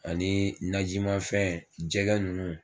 Ani najimanfɛn jɛgɛ ninnu.